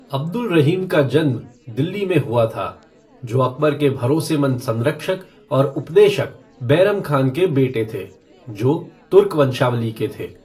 अब्दुल रहीम का जन्म दिल्ली में हुआ था, जो अकबर के भरोसेमंद संरक्षक और उपदेशक बैरम खान के बेटे थे, जो तुर्क वंशावली के थे।